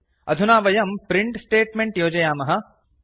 अधुना वयं print statement योजयामः